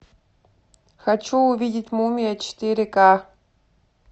хочу увидеть мумия четыре ка